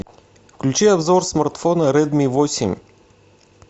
включи обзор смартфона редми восемь